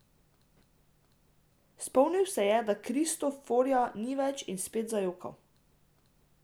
Spomnil se je, da Kristoforja ni več, in spet zajokal.